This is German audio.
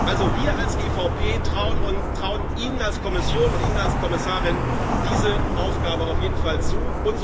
Also, wir als EVP trauen Ihnen als Kommission und Ihnen als Kommissarin diese Aufgabe auf jeden Fall zu.